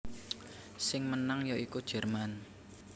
Sing menang ya iku Jerman